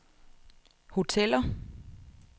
hoteller